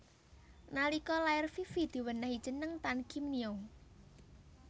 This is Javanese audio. Nalika lair Fifi diwenéhi jeneng Tan Kiem Nio